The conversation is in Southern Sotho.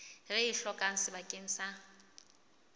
re e hlokang bakeng sa